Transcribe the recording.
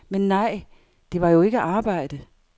Men nej, det var jo ikke arbejde.